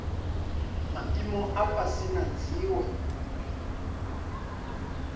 maimo a fhasi na dziwe